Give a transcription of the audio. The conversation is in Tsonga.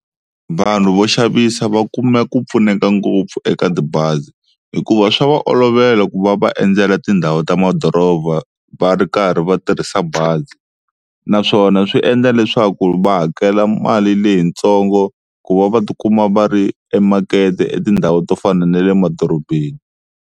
Vanhu vo xavisa va kuma ku pfuneka ngopfu eka tibazi hikuva swa va olovela ku va va endzela tindhawu ta madoroba va ri karhi va tirhisa bazi naswona swi endla leswaku va hakela mali leyitsongo ku va va tikuma va ri emakete etindhawu to fana na le madorobeni.